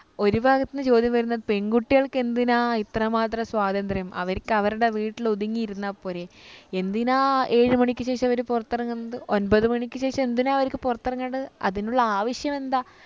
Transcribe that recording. ഒരു ഭാഗത്തു നിന്ന് ചോദ്യം വരുന്നത് പെൺകുട്ടികൾക്കെന്തിനാ ഇത്രമാത്രം സ്വാതന്ത്ര്യം അവർക്ക് അവരുടെ വീട്ടിൽ ഒതുങ്ങിയിരുന്നാൽ പോരെ എന്തിനാ ഏഴു മണിക്ക് ശേഷം അവര് പുറത്തിറങ്ങുന്നത് ഒൻപതു മണിക്ക് ശേഷം എന്തിനാ അവർക്ക് പുറത്തിറങ്ങേണ്ടത് അതിനുള്ള ആവശ്യം എന്താ